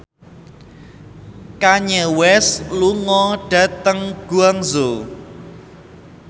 Kanye West lunga dhateng Guangzhou